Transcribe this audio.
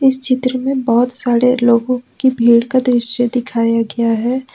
इस चित्र में बहुत सारे लोगों की भीड़ का दृश्य दिखाया गया है।